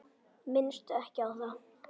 Minnstu ekki á það.